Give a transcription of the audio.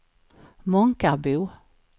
Månkarbo